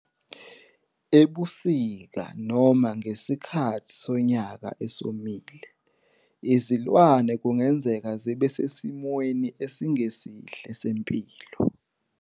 Ebusika noma ngesikhathi sonyaka esomile, izilwane kungenzeka zibe sesimweni esingesihle sempilo.